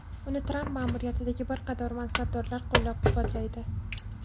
Uni Tramp ma’muriyatidagi bir qator mansabdorlar qo‘llab-quvvatlaydi.